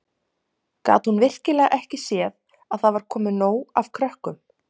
Gat hún virkilega ekki séð að það var komið nóg af krökkum?